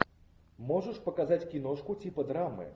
можешь показать киношку типа драмы